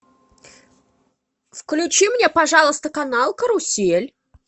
включи мне пожалуйста канал карусель